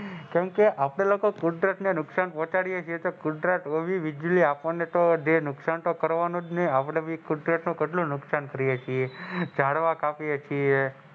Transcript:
કેમકે આપડે લોકો કુદરત ને નુકસાન પહોંચાડીયે છીએ તો કુદરત ને બી વીજળી ને તો નુકસાન તો કરવાનુજને કે આપડે કુદરત નું કેટલું નુકસાન કરીયે છીએ ઝાડવા કાપીએ છીએ.